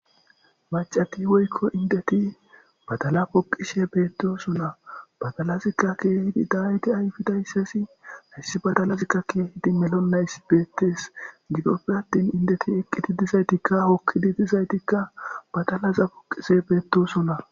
Macati woykko indeti badala poqishe beettosunna badalazikka keehidi daayiti ayfidayssasi hyssi badalazikka keehidi melonays beettees gidoppe attin indeti eqqiti dizaytikka hokkidi dizaytikka badalaza poqise beettosona.